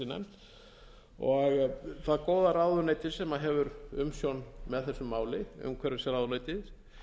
sé nefnt það góða ráðuneyti sem hefur umsjón með þessu máli umhverfisráðuneytið